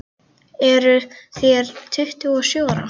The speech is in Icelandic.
Eruð þér tuttugu og sjö ára.